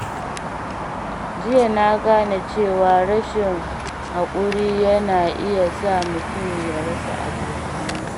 Jiya na gane cewa rashin haƙuri yana iya sa mutum ya rasa abokansa.